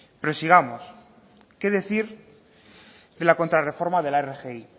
pero sigamos qué decir de la contra reforma de la rgi